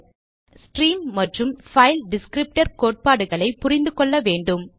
redirection பற்றி அறியும் முன் ஸ்ட்ரீம் மற்றும் பைல் டிஸ்க்ரிப்டர் கோட்பாடுகளை புரிந்து கொள்ள வேண்டும்